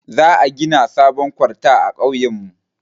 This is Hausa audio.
Za a gina sabon kwalta a kauyen mu